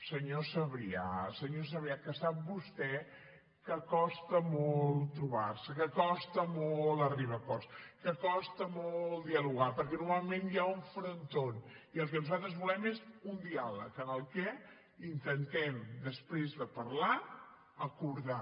senyor sabrià senyor sabrià que sap vostè que costa molt trobar se que costa molt arribar a acords que costa molt dialogar perquè normalment hi ha un frontó i el que nosaltres volem és un diàleg en el que intentem després de parlar acordar